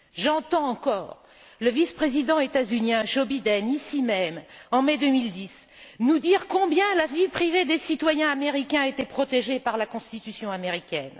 J'entends encore le vice président des États Unis, Joe Biden, ici même, en mai 2010, nous dire combien la vie privée des citoyens américains était protégée par la Constitution américaine.